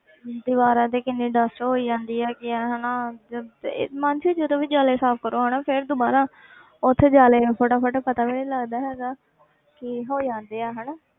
ਦੀਵਾਰਾਂ ਤੇ ਕਿੰਨੀ dust ਹੋਈ ਜਾਂਦੀ ਹੈ ਕਿ ਹਨਾ ਜਦੋਂ ਤੇ ਮਾਨਸੀ ਜਦੋਂ ਵੀ ਜਾਲੇ ਸਾਫ਼ ਕਰੋ ਹਨਾ ਫਿਰ ਦੁਬਾਰਾ ਉੱਥੇ ਜਾਲੇ ਫਟਾਫਟ ਪਤਾ ਵੀ ਨੀ ਲੱਗਦਾ ਹੈਗਾ ਕਿ ਹੋ ਜਾਂਦੇ ਆ ਹਨਾ